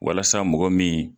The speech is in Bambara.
Walasa mɔgɔ min